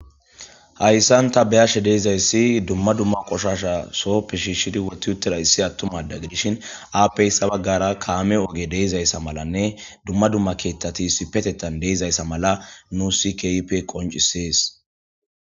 Hayssan ta beyashe deizayssi dumma dumma qoshasha soppe shiishshidi woti uttera issi attumada gidishin aappey sabaggara kaame oge deizayssa malanne dumma dumma keettati sipetettan deizayssa mala nu si kipe qoncisees.